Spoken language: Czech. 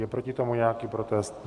Je proti tomu nějaký protest?